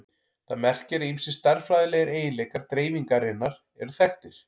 Það merkir að ýmsir stærðfræðilegir eiginleikar dreifingarinnar eru þekktir.